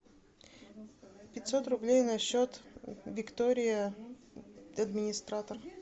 пятьсот рублей на счет виктория администратор